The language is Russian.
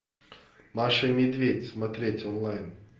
маша и медведь смотреть онлайн